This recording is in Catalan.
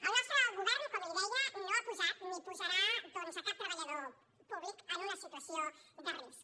el nostre govern com li deia no ha posat ni posarà doncs cap treballador en una situació de risc